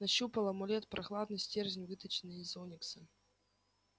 нащупал амулет прохладный стержень выточенный из оникса